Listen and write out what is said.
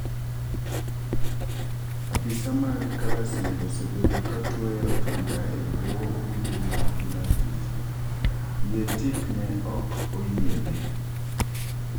Apisa mag Kalasinga osebedo katweyo otambaa e bwoo ogudu margi mar tich. Yiee tik ne ok oyiene.